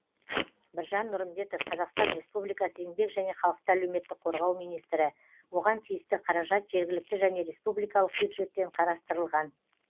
біржан нұрымбетов қазақстан республикасы еңбек және халықты әлеуметтік қорғау министрі оған тиісті қаражат жергілікті және республикалық бюджеттен қарастырылған